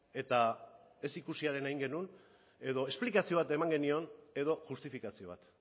eta ez ikusiarena egin genuen edo esplikazio bat eman genion edo justifikazio bat